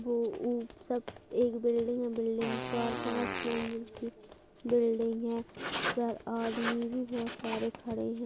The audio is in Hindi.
वो उपस सब एक बिल्डिंग में बिल्डिंग चार-पांच मंजिल की बिल्डिंग है। यहाँ आदमी भी बोहोत सारे खड़े हैं।